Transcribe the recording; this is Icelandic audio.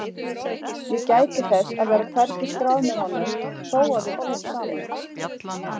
Ég gæti þess að vera hvergi skráð með honum þó að við búum saman.